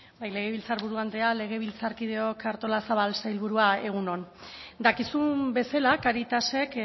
bai legebiltzarburu andrea legebiltzarkideok artolazabal sailburua egun on dakizun bezala caritasek